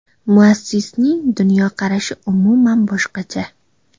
Muassisning dunyoqarashi umuman boshqacha.